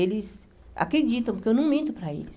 Eles acreditam, porque eu não minto para eles.